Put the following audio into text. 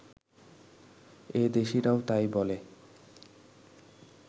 এ দেশিরাও তাই বলে